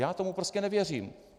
Já tomu prostě nevěřím.